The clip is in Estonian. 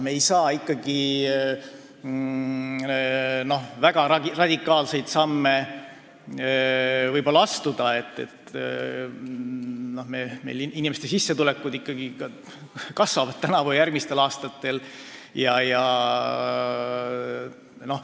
Me ei saa väga radikaalseid samme astuda, sest meil inimeste sissetulekud ikkagi kasvavad tänavu ja järgmistel aastatel.